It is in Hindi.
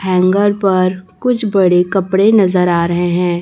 हैंगर पर कुछ बड़े कपड़े नजर आ रहे हैं।